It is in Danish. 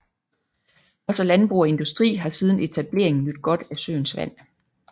Også landbrug og industri har siden etableringen nydt godt af søens vand